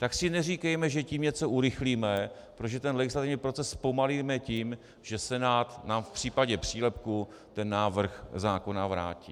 Tak si neříkejme, že tím něco urychlíme, protože ten legislativní proces zpomalíme tím, že Senát nám v případě přílepku ten návrh zákona vrátí.